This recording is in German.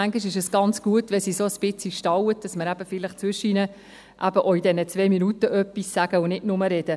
Manchmal ist es ganz gut, wenn es uns ein bisschen in den Senkel stellt, damit wir zwischendurch, auch in den zwei Minuten, etwas sagen und nicht nur reden.